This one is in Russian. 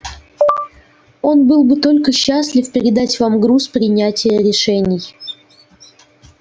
он был бы только счастлив передать вам груз принятия решений